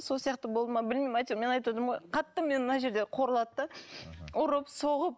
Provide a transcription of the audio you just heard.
сол сияқты болды ма білмеймін әйтеуір мен айтып отырмын ғой қатты мені мына жерде қорлады да мхм ұрып соғып